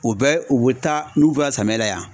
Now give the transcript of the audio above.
U bɛ u bɛ taa n'u bɛ ka samiya la yan.